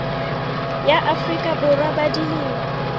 ya afrika borwa ba dilemo